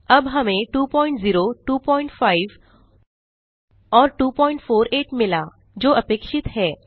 अब हमें 20 25 और 248 मिला जो अपेक्षित हैं